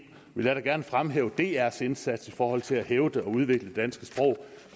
vil jeg gerne fremhæve drs indsats i forhold til at hævde og udvikle det danske sprog